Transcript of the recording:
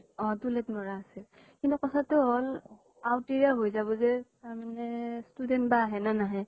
অ । toilet মৰা আছে । কিন্তু কথাতো হʼল, আওতিৰে হৈ যাব যে, তাৰমানে student বা আহে নে নাহে